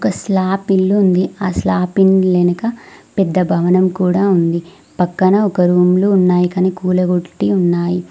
Slab ఇల్లు ఉంది ఆ స్లాబ్ ఇండ్లు వెనక పెద్ద భవనం కూడా ఉంది పక్కన ఒక రూమ్ లు ఉన్నాయి కానీ కూలగొట్టి ఉన్నాయి.